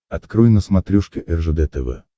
открой на смотрешке ржд тв